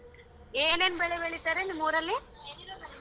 ಏನೇನ್ ಬೆಳೆ ಬೆಳಿತಾರೆ ನಿಮ್ಮೂರಲ್ಲಿ?